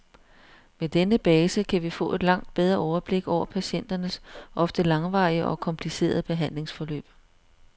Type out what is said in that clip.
Med denne base kan vi få et langt bedre overblik over patienternes ofte langvarige og komplicerede behandlingsforløb.